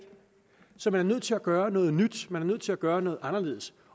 så man er nødt til at gøre noget nyt man er nødt til at gøre noget anderledes